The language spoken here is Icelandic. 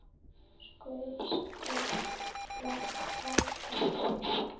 Skvett, skvett, þvottar og bænir.